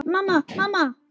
Mamma, mamma.